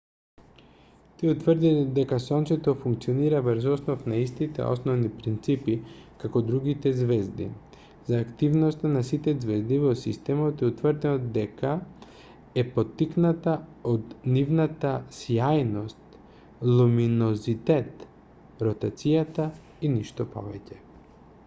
тие утврдиле дека сонцето функционира врз основа на истите основни принципи како другите ѕвезди: за активноста на сите ѕвезди во системот е утврдено дека е поттикната од нивната сјајност луминозитет ротацијата и ништо повеќе